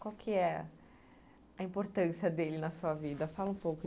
Qual que é a importância dele na sua vida? Fala um pouco